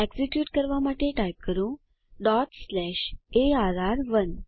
execute કરવા માટે type કરો arr1